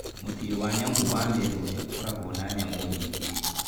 Mũciĩ wa nyamũ wa Meru nĩ ũkoragwo na nyamũ nyingĩ.